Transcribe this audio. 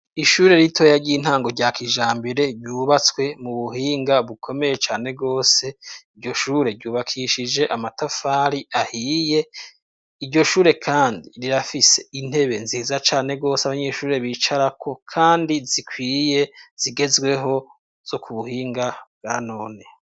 Ishure ritoya ry'intango rya kijambere ryubatswe mu buhinga bukomeye cane gwose iryo shure ryubakishije amatafari ahiye iryo shure kandi rirafise intebe nziza cane gose abanyeshuri bicara ko kandi zikwiye zigezweho zo ku buhinga bwa none.